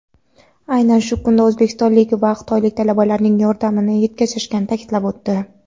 aynan shu kunda o‘zbekistonlik va xitoylik talabalarning yordamini yetkazishayotganini ta’kidlab o‘tdi.